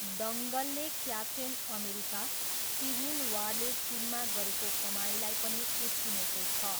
दङ्गलले Captain America, Civil वारले चिनमा गरेको कमाईलाई पनि उछिनेको छ।